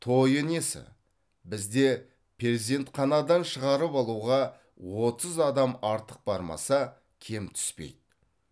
тойы несі бізде перзентханадан шығарып алуға отыз адам артық бармаса кем түспейді